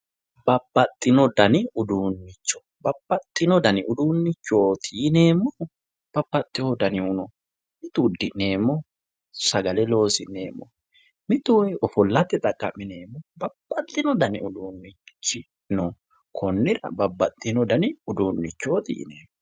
Babbaxxino dani uduunnichooti yineemmohu babbaxxewoo danihu no uddi'neemmihu sagale loosi'neemmohu mitu ofollate xaqqa'mineemmohu babbaxxino dani uduunnichi no konnira Babbaxxino dani uduunnichooti yineemmo